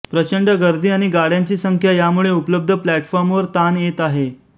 प्रचंड गर्दी आणि गाड्यांची संख्या यामुळे उपलब्ध प्लॅटफाॅर्मवर ताण येत आहे